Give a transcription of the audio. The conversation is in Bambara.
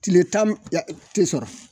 Tile tan n ya te sɔrɔ